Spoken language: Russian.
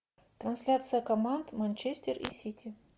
трансляция команд манчестер и сити